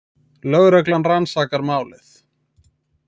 Lögreglan rannsakar málið